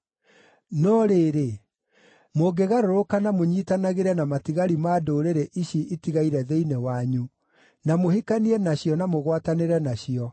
“No rĩrĩ, mũngĩgarũrũka na mũnyiitanagĩre na matigari ma ndũrĩrĩ ici itigaire thĩinĩ wanyu na mũhikanie nacio na mũgwatanĩre nacio,